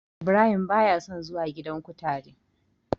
Ibrahim ba ya son zuwa gidan kutare.